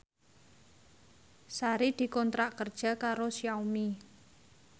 Sari dikontrak kerja karo Xiaomi